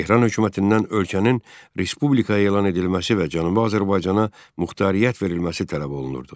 Tehran hökumətindən ölkənin Respublika elan edilməsi və Cənubi Azərbaycana muxtariyyət verilməsi tələb olunurdu.